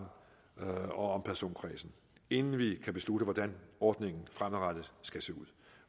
og om personkreds inden vi kan beslutte hvordan ordningen fremadrettet skal se ud